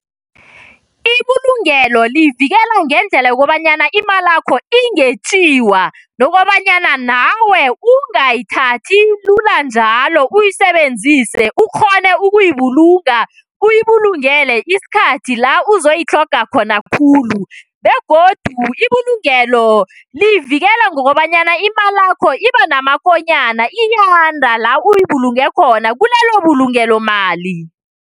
Ibulungelo livikela ngendlela yokobanyana imalakho ingetjiwa nokobanyana nawe ungayithathi lula njalo uyisebenzise, ukghone ukuyibulunga uyibulungele isikhathi la uzoyitlhoga khona khulu begodu ibulungelo liyivikela ngokobanyana imalakho ibanamakonyana iyanda lawuyibulunge khona, kulelo bulungelo mali.